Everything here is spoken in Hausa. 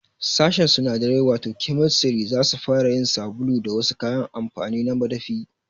Sashin sunadarai wato Chemistry zasu fara yin sabulu da wasu kayan amfani na madafi